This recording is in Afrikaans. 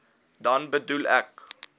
dan bedoel ek